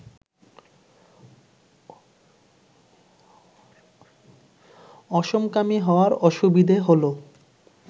অসমকামী হওয়ার অসুবিধে হল